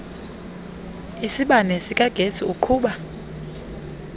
isibane sikagesi uqhuba